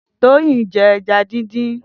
Toyin n jè ẹ̀já dindin